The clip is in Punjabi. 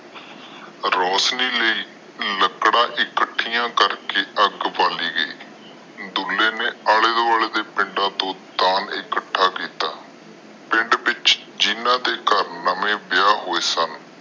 ਰੋਸ਼ਨੀ ਲਇ ਲੱਕੜਾ ਇਕੱਠੀਆਂ ਕਰਕੇ ਅੱਗ ਬਾਲੀ ਗਯੀ। ਦੁੱਲੇ ਨੇ ਆਲੇ ਦੁਆਲੇ ਦੇ ਪਿੰਡ ਚੋ ਦਾਨ ਇਕੱਠਾ ਕੀਤਾ। ਪਿੰਡ ਵਿਚ ਜਿਨ੍ਹਾਂ ਦੇ ਘਰ ਨਵੇਂ ਵਿਆਹ ਹੋਏ ਸਨ